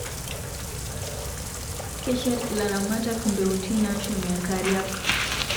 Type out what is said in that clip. Keshet ilaramatak mbeutin nashumie nkariak